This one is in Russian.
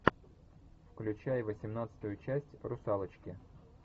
включай восемнадцатую часть русалочки